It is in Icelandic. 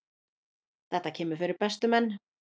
Þetta kemur fyrir bestu menn.